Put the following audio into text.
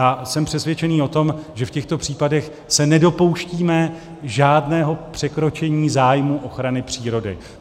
A jsem přesvědčený o tom, že v těchto případech se nedopouštíme žádného překročení zájmu ochrany přírody.